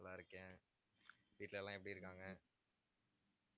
நல்லா இருக்கேன் வீட்டுல எல்லாம் எப்படி இருக்காங்க